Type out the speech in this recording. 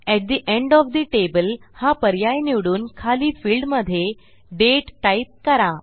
अट the end of the table हा पर्याय निवडून खाली फिल्डमधे दाते टाईप करा